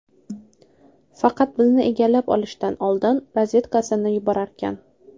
Faqat bizni egallab olishidan oldin razvedkasini yuborarkan.